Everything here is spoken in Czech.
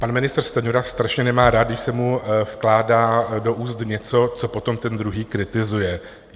Pan ministr Stanjura strašně nemá rád, když se mu vkládá do úst něco, co potom ten druhý kritizuje.